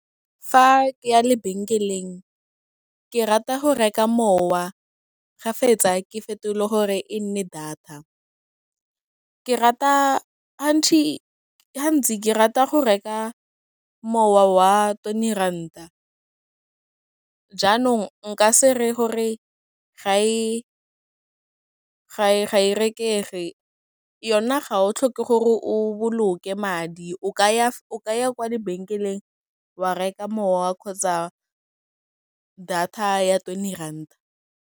Fa ke ya lebenkeleng, ke rata go reka mowa, ga fetsa, ke fetole gore e nne data, ke rata hantsi ke rata go reka mowa wa twenty ranta, jaanong nka se reye gore ga e rekege, yona ga o tlhoke gore o boloke madi, o ka ya kwa lebenkeleng wa reka mowa kgotsa data ya twenty ranta.